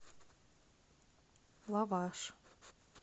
лаваш